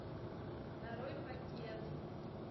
нарой пакет